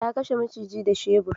Ta kashe maciji da shebur.